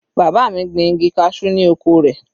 Bàbá mi gbin igi cashew ni oko rẹ̀.